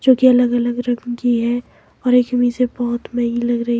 जोकि अलग अलग रंग की है और एक से बहोत महंगी लग रही--